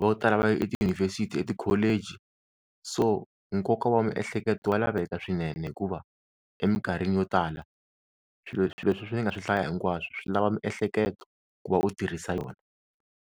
vo tala va ya etiyunivhesiti etikholeji, so nkoka wa miehleketo wa laveka swinene hikuva eminkarhini yo tala swilo swilo sweswi ni nga swi hlaya hinkwaswo swi lava miehleketo ku va u tirhisa yona.